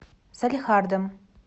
салехардом